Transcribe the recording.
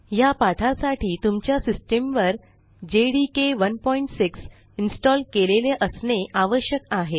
ह्या पाठासाठी तुमच्या सिस्टीमवर जेडीके 16 इन्स्टॉल केलेले असणे आवश्यक आहे